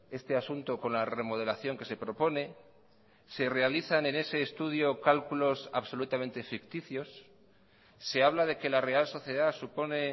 este asunto con la remodelación que se propone se realizan en ese estudio cálculos absolutamente ficticios se habla de que la real sociedad supone